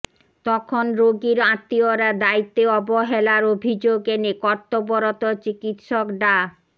তখন রোগীর আত্মীয়রা দ্বায়িত্বে অবহেলার অভিযোগ এনে কর্তব্যরত চিকিৎসক ডা